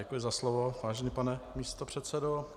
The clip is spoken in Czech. Děkuji za slovo, vážený pane místopředsedo.